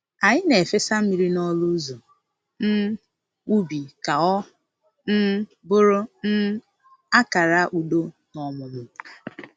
Anyị na-efesa mmiri n’ọnụ ụzọ um ubi ka ọ um bụrụ um akara udo na ọmụmụ